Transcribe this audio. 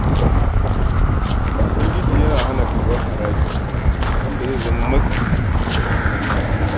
Ubangiji yana hana karɓar haraji da zai zama matsi ga talakawa.